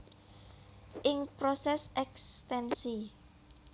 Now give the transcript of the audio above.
Ing proses ekstensi